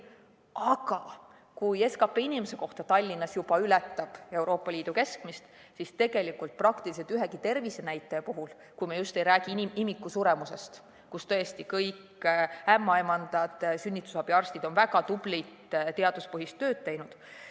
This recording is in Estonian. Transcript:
Aga kui SKP inimese kohta Tallinnas juba ületab Euroopa Liidu keskmist, siis praktiliselt ühegi tervisenäitaja puhul, kui me just ei räägi imikusuremusest, kus tõesti kõik ämmaemandad ja sünnitusabiarstid on väga tublit teaduspõhist tööd teinud.